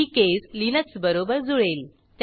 ही case Linux बरोबर जुळेल